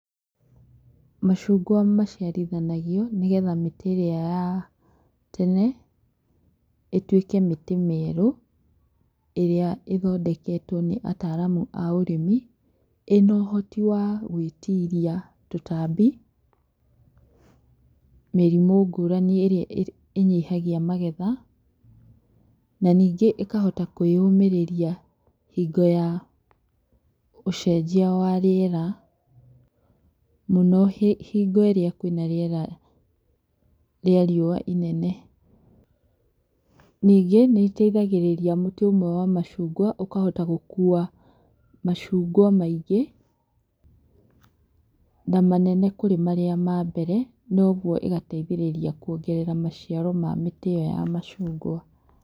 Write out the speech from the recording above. Macungwa maciĩrithanagio nĩgetha mĩtĩ ĩria ya tene, ĩtwĩke mĩtĩ mĩerũ, ĩria ĩthondeketwo nĩataramu aũrĩmi, ĩnohoti wa gwĩĩtiria tũtabi, mĩrimũ ngũrani ĩrĩa ĩnyihagia magetha, na ningĩ ĩkahota kwĩyũmĩrĩria hingo ya ũcenjia wa rĩera, mũno hĩ hingo ĩria kwina rĩera rĩa rĩũwa inene, ningĩ nĩteithagĩrĩria mũtĩ ũmwe wa macungwa ũkahota gũkuwa macungwa maingĩ, na manene kũrĩ maria mambere, na ũguo ĩgateithĩrĩria kwongerera maciaro ma mĩtĩ ĩyo ya macungwa.